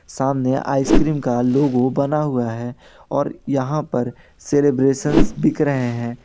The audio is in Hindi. सामने आइसक्रीम का लोगो बना हुआ है और यहां पर सेलिब्रेसनस बिक रहे है।